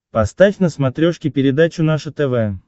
поставь на смотрешке передачу наше тв